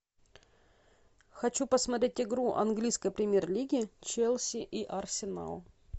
хочу посмотреть игру английской премьер лиги челси и арсенал